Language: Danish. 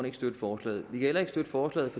ikke støtte forslaget vi kan heller ikke støtte forslaget